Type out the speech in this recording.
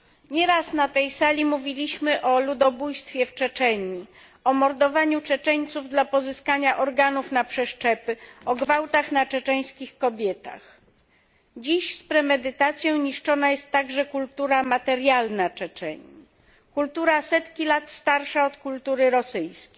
Nie raz na tej sali mówiliśmy o ludobójstwie w Czeczenii, o mordowaniu Czeczeńców dla pozyskania organów na przeszczepy, o gwałtach na czeczeńskich kobietach. Dziś z premedytacją niszczona jest także kultura materialna Czeczenii, kultura setki lat starsza od kultury rosyjskiej.